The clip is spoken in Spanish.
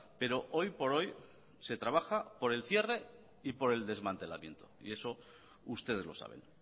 pero hoy por hoy se trabaja por el cierre y por el desmantelamiento y eso ustedes lo saben